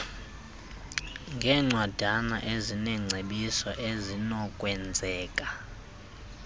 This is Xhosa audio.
ngeencwadana ezineengcebiso ezinokwenzeka